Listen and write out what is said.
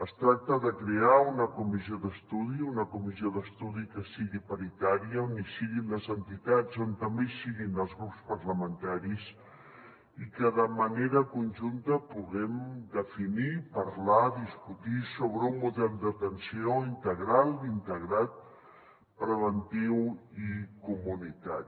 es tracta de crear una comissió d’estudi una comissió d’estudi que sigui paritària on hi siguin les entitats on també hi siguin els grups parlamentaris i que de manera conjunta puguem definir parlar discutir sobre un model d’atenció integral integrat preventiu i comunitari